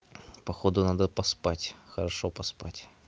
походу надо поспать хорошо поспать